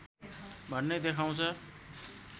भन्ने देखाउँछ